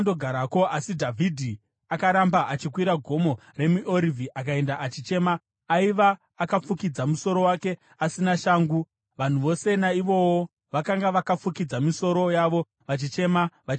Asi Dhavhidhi akaramba achikwira Gomo reMiorivhi, akaenda achichema: aiva akafukidza musoro wake asina shangu. Vanhu vose naivowo vakanga vakafukidza misoro yavo vachichema vachikwidza.